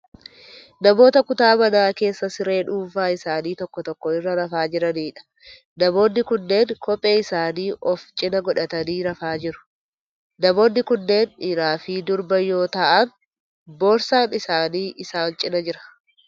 Namoota kutaa manaa keessa siree dhuunfaa isaanii tokko tokko irra rafaa jiraniidha. Namoonni kunneen kophee isaanii ofi cina godhatanii rafaa jiru. Namoonni kunneen dhiiraa fi durba yoo ta'aan boorsaan isaanii isaan cina jira.